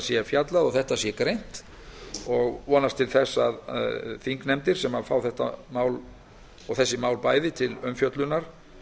sé fjallað og þetta greint ég vonast til þess að þær þingnefndir sem fá þessi mál bæði til umfjöllunar